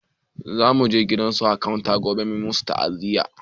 Za muje gidan akanta gobe a masa ta'aziya